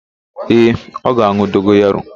Ee, ọ ga-an̄ụ dogoyaro.